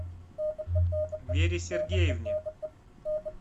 вере сергеевне